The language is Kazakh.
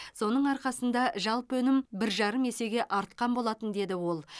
соның арқасында жалпы өнім бір жарым есеге артқан болатын деді ол